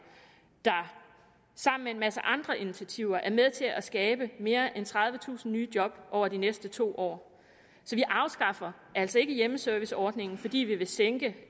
der sammen med en masse andre initiativer er med til at skabe mere end tredivetusind nye job over de næste to år så vi afskaffer altså ikke hjemmeserviceordningen fordi vi vil sænke